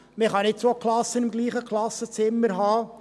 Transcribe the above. Man kann nicht zwei Klassen im selben Klassenzimmer haben.